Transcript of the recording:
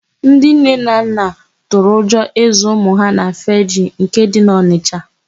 Ndị nne na nna tụrụ ụjọ ịzụ ụmụ ha na Fegee nke dị n'Ọnisha.